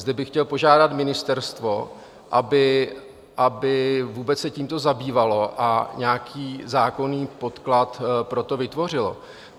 Zde bych chtěl požádat ministerstvo, aby se vůbec tímto zabývalo a nějaký zákonný podklad pro to vytvořilo.